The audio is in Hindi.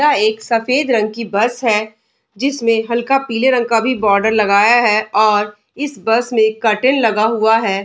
यह एक सफेद रंग की बस है जिसमें हल्का पीले रंग का भी बॉर्डर लगाया है और इस बस मे कर्टेन लगा हुआ है।